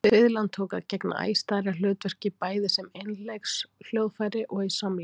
Fiðlan tók að gegna æ stærra hlutverki, bæði sem einleikshljóðfæri og í samleik.